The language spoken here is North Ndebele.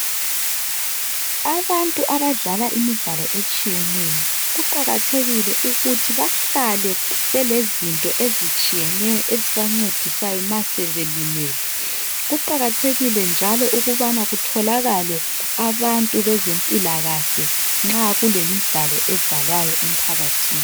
Abantu abadlala imidlalo etshiyeneyo kuqakathekile ukuthi bahlale belezinto ezitshiyeneyo ezibancedisayo masebelimele kuqakathekile njalo ukubana kutholakale abantu bezempilakahle nxa kulemidlalo edlalwayo emphakathini